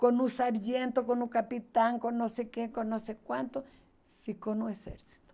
Com um sargento, com um capitão, com não sei quem, com não sei quanto, ficou no exército.